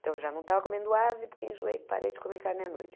Então, eu já não estava comendo ave, porque enjoei, parei de comer carne à noite.